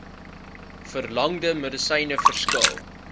verlangde medisyne verskil